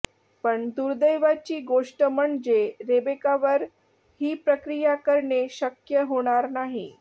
पण दुर्दैवाची गोष्ट म्हणजे रेबेकावर ही प्रक्रिया करणे शक्य होणार नाही